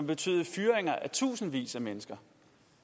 betyde fyringer af tusindvis af mennesker